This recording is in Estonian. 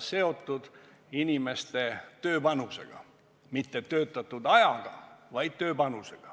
seotud inimeste tööpanusega – mitte töötatud ajaga, vaid tööpanusega.